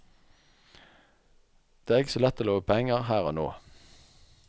Det er ikke så lett å love penger her og nå.